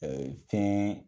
Ɛɛ fɛn